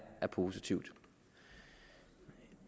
positivt